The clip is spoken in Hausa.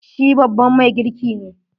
Shi babban mai girki ne.